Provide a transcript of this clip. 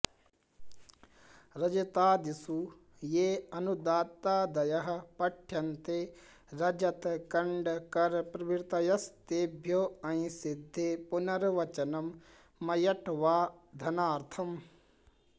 रजतादिषु ये ऽनुदात्तादयः पट्यन्ते रजतकण्डकरप्रभृतयस्तेभ्यो ऽञि सिद्धे पुनर्वचनं मयड्वाधनार्थम्